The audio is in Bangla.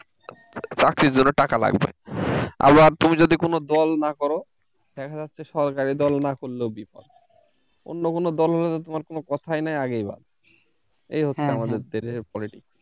চাকরির জন্য টাকা লাগবে আবার তুমি যদি কোন দল না করো দেখা যাচ্ছে সরকারি দল না করলেও বিপদ অন্য কোন দল হলে তোমার কোন কথাই নাই আগেই বাদ এই হচ্ছে আমাদের দেশের politics